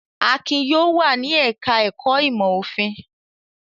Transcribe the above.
Akin yóò wà ní ẹ̀ka-ẹ̀kọ́ ìmọ̀-òfin!